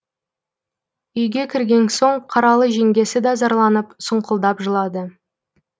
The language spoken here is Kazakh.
үйге кірген соң қаралы жеңгесі да зарланып сұңқылдап жылады